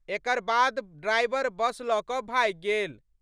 एकर बाद driver bus ल' क' भागि गेल।